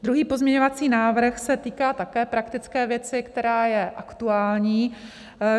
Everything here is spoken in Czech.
Druhý pozměňovací návrh se týká také praktické věci, která je aktuální.